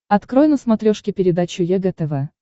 открой на смотрешке передачу егэ тв